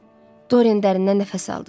Doren dərindən nəfəs aldı.